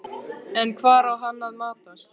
En hvar á hann að matast?